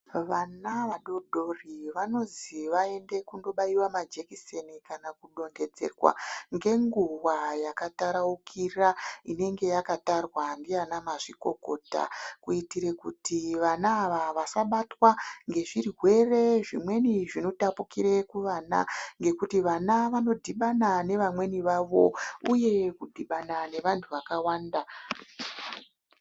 Vana vadododri vanozi vaende kundobairwa majekiseni kana kudonhedzerwa ngenguwa yakataraukira inenge yakatarwa ndiana mazvikokota kuitire kuti vana ava vasabatwa ngezvirwere zvimweni zvinotapukire kuvana ngekuti vana vanodhibana nevamweni vavo uye kudhibana nevanhu vakawanda.